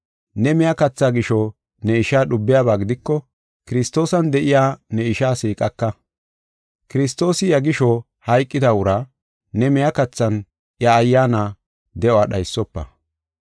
Ne miya katha gisho ne ishaa dhubiyaba gidiko, Kiristoosan de7iya ne ishaa siiqaka. Kiristoosi iya gisho hayqida uraa ne miya kathan iya ayyaana de7uwa dhaysofa.